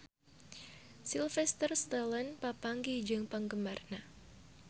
Sylvester Stallone papanggih jeung penggemarna